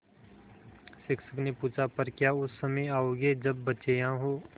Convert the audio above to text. शिक्षक ने पूछा पर क्या उस समय आओगे जब बच्चे यहाँ हों